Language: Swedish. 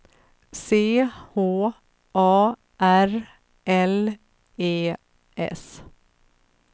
C H A R L E S